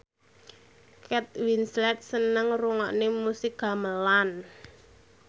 Kate Winslet seneng ngrungokne musik gamelan